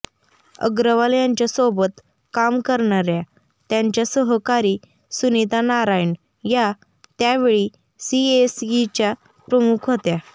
अग्रवाल यांच्यासोबत काम करणाऱ्या त्यांच्या सहकारी सुनीता नारायण या त्यावेळी सीएसईच्या प्रमुख होत्या